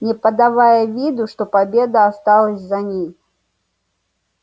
не подавая виду что победа осталась за ней